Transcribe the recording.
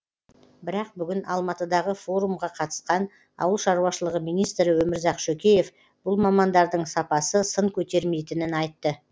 бірақ бүгін алматыдағы форумға қатысқан ауыл шаруашылығы министрі өмірзақ шөкеев бұл мамандардың сапасы сын көтермейтінін айтты